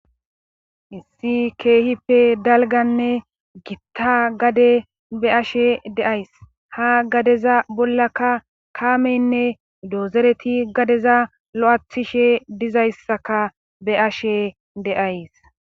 Issi keehippe dalganne gitta gade be ashe deays ha gadeza bollaka kaameynne doozereti gadeza lo'athishe dizayssaka be ashe deays.